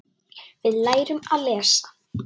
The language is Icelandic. Við lærum að lesa.